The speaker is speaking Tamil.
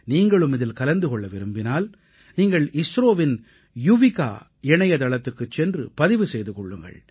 நீங்களும் இதில் கலந்து கொள்ள விரும்பினால் நீங்கள் இஸ்ரோவின் யுவிகா இணையதளத்துக்குச் சென்று பதிவு செய்து கொள்ளுங்கள்